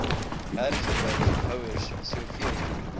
hergebruik houers soveel